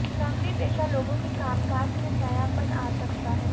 नौकरीपेशा लोगों के कामकाज में नयापन आ सकता है